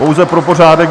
Pouze pro pořádek.